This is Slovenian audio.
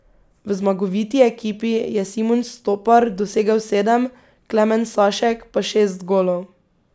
V zmagoviti ekipi je Simon Stopar dosegel sedem, Klemen Sašek pa šest golov.